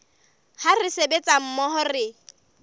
ha re sebetsa mmoho re